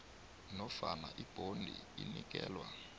nofana ibhondi inikelwa